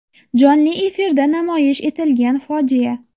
Jonli efirda namoyish etilgan fojia.